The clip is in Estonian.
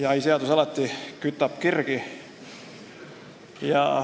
Jahiseadus kütab alati kirgi.